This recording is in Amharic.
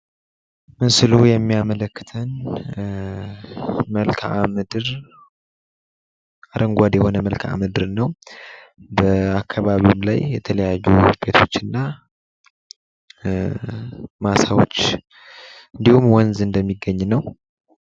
ምስሉ የሚያመልክተን መልክዓ ምድር አረንጓዴ የሆነ መልክዓ ምድር ነው በአካባቢውም ላይ የተለያዩ ውጤቶችና ማሳወች እንዲሁም ወንዝ እንደሚገኝ ነው ።